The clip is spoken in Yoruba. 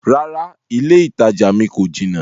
Rárá, ilẹ́ ìtajà mi kò jinà.